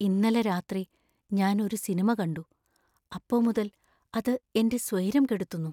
ഇന്നലെ രാത്രി ഞാൻ ഒരു സിനിമ കണ്ടു, അപ്പോ മുതൽ അത് എന്‍റെ സ്വൈരം കെടുത്തുന്നു.